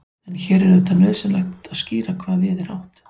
en hér er auðvitað nauðsynlegt að skýra hvað við er átt